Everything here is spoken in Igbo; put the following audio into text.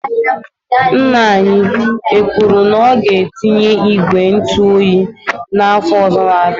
Ńnà anyị ekwuru na ọ ga etinye ìgwè ntụ oyi na afọ ọzọ na -abịa?